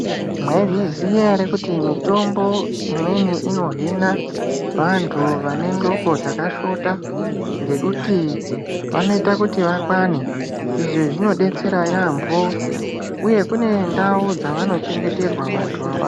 Mwaizviziya ere kuti mitombo imweni inohina vanthu vane ndxoko dzakashota ngekuti vanoita kuti vakwane. Izvi zvinodetsera yaampho, uye kune ndau dzavanochengeterwa vantu ava.